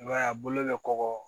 I b'a ye a bolo bɛ kɔgɔ